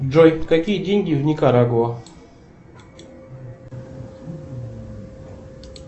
джой какие деньги в никарагуа